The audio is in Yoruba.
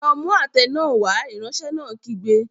Lọ mú àtẹ náà wá! Ìránṣẹ́ náà kígbe.